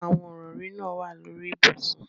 Awọn irọri naa wa lori ibusun